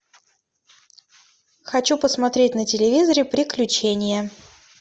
хочу посмотреть на телевизоре приключения